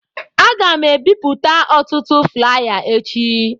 Aga m ebipụta ọtụtụ flaya echi.